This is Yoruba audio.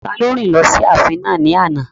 Taló rìn lọ sí ààfin náà ní àná?